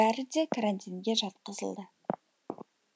бәрі де карантинге жатқызылды